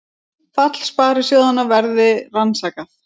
Fall sparisjóðanna verði rannsakað